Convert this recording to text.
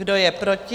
Kdo je proti?